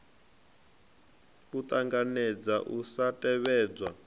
a ṱanganedza u sa tevhedzwa